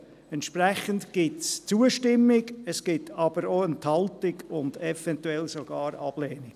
Entsprechend gibt es Zustimmung, es gibt aber auch Enthaltung und eventuell sogar Ablehnung.